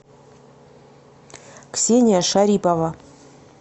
ксения шарипова